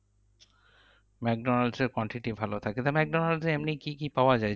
ম্যাকডোনালসের quantity ভালো থাকে তা ম্যাকডোনালসে এমনি কি কি পাওয়া যায়?